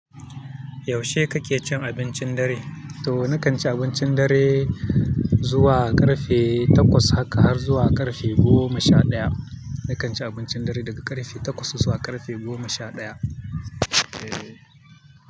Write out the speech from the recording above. Yaushe kake cin abincin dare? To nakan ci abincin dare zuwa ƙarfe takwas haka har zuwa ƙarfe goma sha ɗaya. Nakan ci abincin dare daga ƙarfe takwas zuwa ƙarfe goma sha ɗaya. Eh.